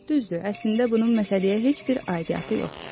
Düzdür, əslində bunun məsələyə heç bir aidiyatı yoxdur.